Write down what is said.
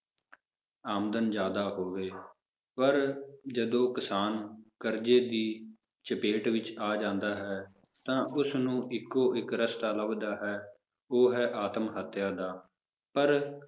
ਆਮਦਨ ਜ਼ਿਆਦਾ ਹੋਵੇ, ਪਰ ਜਦੋਂ ਕਿਸਾਨ ਕਰਜ਼ੇ ਦੀ ਚਪੇਟ ਵਿੱਚ ਆ ਜਾਂਦਾ ਹੈ ਤਾਂ ਉਸਨੂੰ ਇੱਕੋ ਇੱਕ ਰਸਤਾ ਲੱਭਦਾ ਹੈ, ਉਹ ਹੈ ਆਤਮ ਹੱਤਿਆ ਦਾ ਪਰ